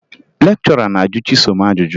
Lekchọra na-ajụ Chisom ajụjụ